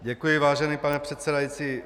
Děkuji, vážený pane předsedající.